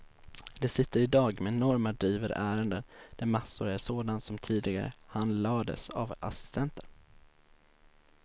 De sitter i dag med enorma drivor ärenden, där massor är sådant som tidigare handlades av assistenter.